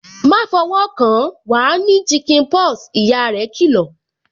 "Ma fọwọ́ kan, wa ní chicken pox" ìyá rẹ kì lọ̀